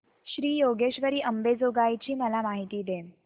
श्री योगेश्वरी अंबेजोगाई ची मला माहिती दे